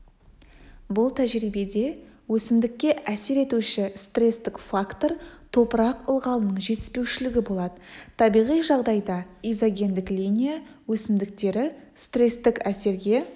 бұл тәжірибеде өсімдікке әсер етуші стрестік фактор топырақ ылғалының жетіспеушілігі болады табиғи жағдайда изогендік линия өсімдіктері стрестік әсерге